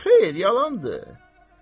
Xeyr, yalandır.